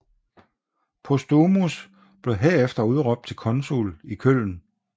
Postumus blev herefter udråbt til konsul i Köln